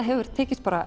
hefur tekist